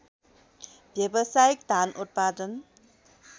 व्यावसायिक धान उत्पादन